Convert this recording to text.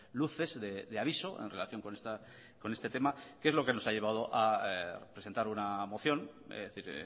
luces de aviso en relación con este tema que es lo que nos ha llevado a presentar una moción es decir